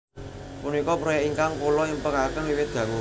Punika proyèk ingkang kula impèkaken wiwit dangu